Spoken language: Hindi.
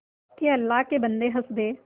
के अल्लाह के बन्दे हंस दे